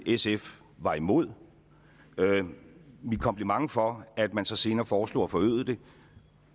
sf var imod det min kompliment for at man så senere foreslog at forøge det